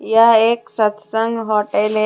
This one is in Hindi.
यह एक सत्संग होटल हैं।